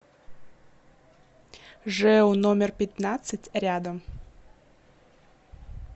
жэу номер пятнадцать рядом